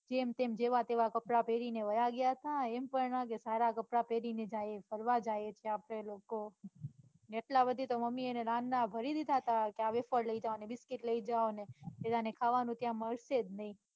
જેમતેમ જેવા તેવા કપડાં પેરીને વયા ગયા તા એમ પણ ના થયું કે સારા કપડાં પેરીને ને જઇયે ફરવા જાયે આપડે લોકો તો ભરી દીધા તા કે આ વેફર લઇ જાઓ ને biscuit લઇ જાઓ ને કે જાને ત્યાં ખાવાનું તો મળશે જ નઈ.